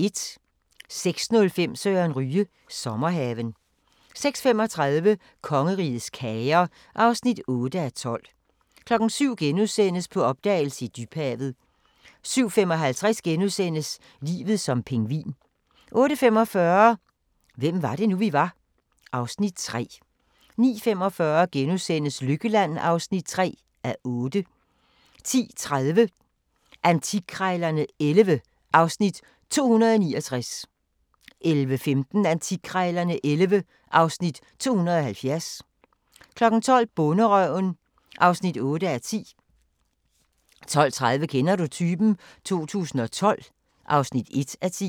06:05: Søren Ryge – Sommerhaven 06:35: Kongerigets kager (8:12) 07:00: På opdagelse i dybhavet * 07:55: Livet som pingvin * 08:45: Hvem var det nu, vi var? (Afs. 3) 09:45: Lykkeland (3:8)* 10:30: Antikkrejlerne XI (Afs. 269) 11:15: Antikkrejlerne XI (Afs. 270) 12:00: Bonderøven (8:10) 12:30: Kender du typen? 2012 (1:10)